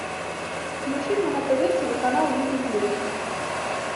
включи мне на тв телеканал ювелирочка